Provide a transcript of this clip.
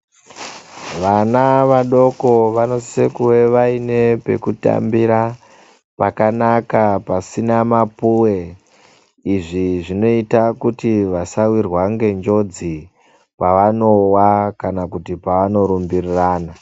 Vana vadoko vano sise kuve vaine peku tambira pakanaka pasina mapuwe izvi zvinoita kuti vasa wirwa nge njodzi pavanowa kana kuti pavano rumbirana.